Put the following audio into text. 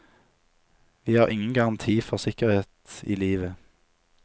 Vi har ingen garanti for sikkerhet i livet.